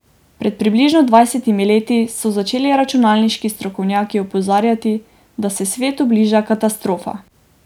Pred približno dvajsetimi leti so začeli računalniški strokovnjaki opozarjati, da se svetu bliža katastrofa.